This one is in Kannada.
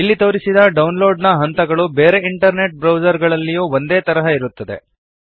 ಇಲ್ಲಿ ತೋರಿಸಿದ ಡೌನ್ಲೋಡ್ ನ ಹಂತಗಳು ಬೇರೆ ಇಂಟರ್ನೆಟ್ ಬ್ರೌಸರ್ ಗಳಲ್ಲಿಯೂ ಇದೇ ತರಹ ಇರುತ್ತವೆ